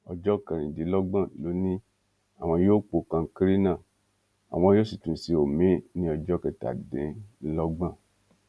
ọjọ kẹrìndínlọgbọn ló ní àwọn yóò po kankéré náà àwọn yóò sì tún ṣe omiín ní ọjọ kẹtàdínlọgbọn